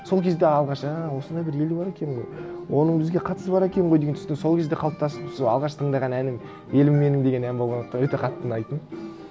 сол кезде алғаш а осындай бір ел бар екен ғой оның бізге қатысы бар екен ғой деген түсінік сол кезде қалыптасып сол алғаш тыңдаған әнім елім менің деген ән болғандықтан өте қатты ұнайтын